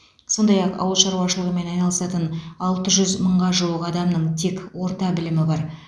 сондай ақ ауыл шаруашылығымен айналысатын алты жүз мыңға жуық адамның тек орта білімі бар